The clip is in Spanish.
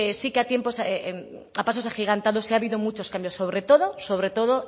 sí que a tiempos a pasos agigantados sí ha habido muchos cambios sobre todo sobre todo